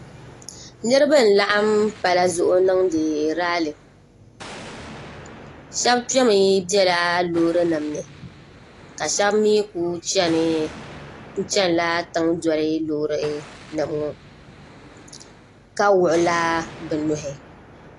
niriba n laɣim palila zuŋ n dɛɛri rali shɛbi kpɛmi bɛ lorinim ni ka shɛbi mi kuli chila tiŋ doli lorinim ŋɔ ka wuɣ' la be nuhi